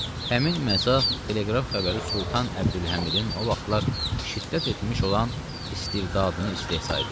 Həmin məzah teleqraf xəbəri Sultan Əbdülhəmidin o vaxtlar şiddət etmiş olan istibdadını istehza edir.